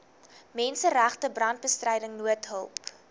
menseregte brandbestryding noodhulp